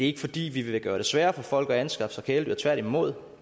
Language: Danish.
ikke fordi vi vil gøre det sværere for folk at anskaffe sig kæledyr tværtimod